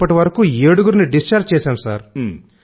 ఇప్పటివరకు ఏడుగురిని డిశ్చార్జి చేశాం సార్